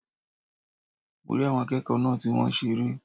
Mo rí àwọn akéèkòó náà ti wón seré